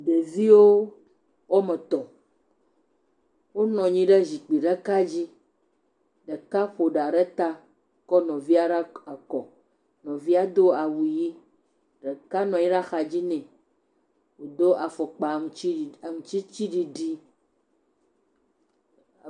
Ɖeviwo wo ame etɔ̃ wonɔ anyi ɖe zikpui ɖeka dzi. Ɖeka ƒo ɖa ɖe ta kɔ nuvia ɖe kɔ. Nuvia do awu ʋi. Ɖeka nɔ anyi ɖe axadzi nɛ wodo afɔkpa aŋutsi aŋutiɖiɖi.